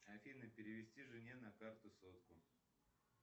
афина перевести жене на карту сотку